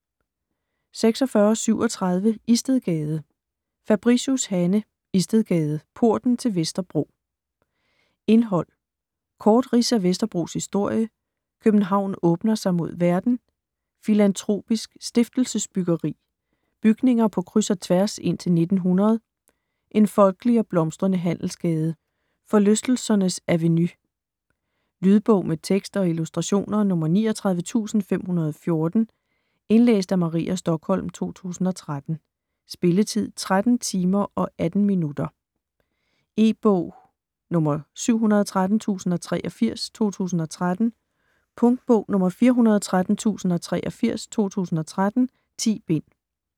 46.37 Istedgade Fabricius, Hanne: Istedgade - porten til Vesterbro Indhold: Kort rids af Vesterbros historie, København åbner sig mod verden, Filantropisk stiftelsesbyggeri, Bygninger på kryds og tværs indtil 1900, En folkelig og blomstrende handelsgade, Forlystelsernes avenue. Lydbog med tekst og illustrationer 39514 Indlæst af Maria Stokholm, 2013. Spilletid: 13 timer, 18 minutter. E-bog 713083 2013. Punktbog 413083 2013. 10 bind.